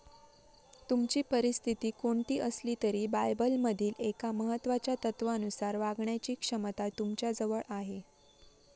तुमची परिस्थिती कोणती असली तरी बायबलमधील एका महत्त्वाच्या तत्त्वानुसार वागण्याची क्षमता तुमच्याजवळ आहे.